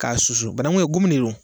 K'a susu bananku gomi de don